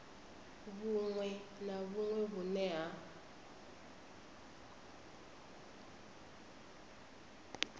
vhuṅwe na vhuṅwe vhune ha